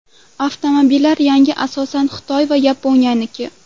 Avtomobillar yangi, asosan Xitoy va Yaponiyaniki.